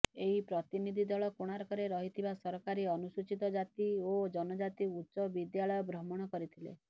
ଏହି ପ୍ରତିନିଧି ଦଳ କୋଣାର୍କରେ ରହିଥିବା ସରକାରୀ ଅନୁସୂଚିତ ଜାତି ଓ ଜନଜାତି ଉଚ୍ଚ ବିଦ୍ୟାଳୟ ଭ୍ରମଣ କରିଥିଲେ